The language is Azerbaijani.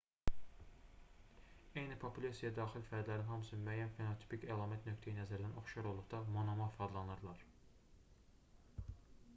eyni populyasiyaya daxil fərdlərin hamısı müəyyən fenotipik əlamət nöqteyi-nəzərdən oxşar olduqda monomorf adlanırlar